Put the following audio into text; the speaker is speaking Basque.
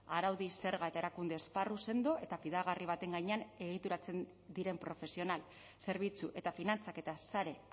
araudi zerga eta erakunde esparru sendo eta fidagarri baten gainean egituratzen diren profesional zerbitzu eta finantzaketa sare